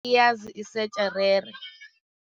Isetjherere.